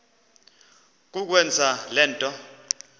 kukwenza le nto